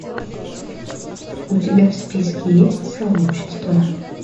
у тебя в списке есть сообщества